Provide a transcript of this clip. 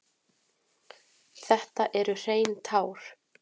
Þetta eru hrein tár.